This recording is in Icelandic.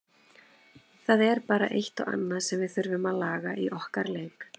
Það er bara eitt og annað sem við þurfum að laga í okkar leik.